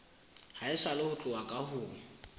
haesale ho tloha ka ho